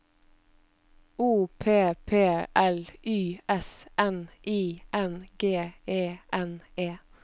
O P P L Y S N I N G E N E